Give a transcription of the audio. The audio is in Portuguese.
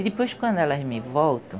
E depois quando elas me voltam,